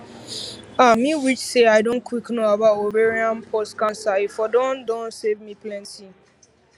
ah me wish say i don quick know about ovarian pause cancer e for don don save me plenty